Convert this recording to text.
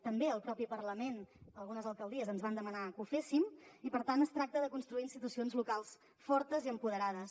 també el mateix parlament algunes alcaldies ens van demanar que ho féssim i per tant es tracta de construir institucions locals fortes i empoderades